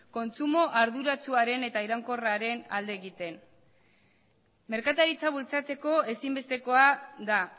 kontsumo arduratsuaren eta iraunkorraren alde egiten merkataritza bultzatzeko ezinbestekoa da